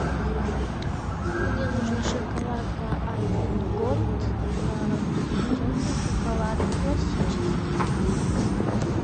мне нужна шоколадка альпен голд темный шоколад классический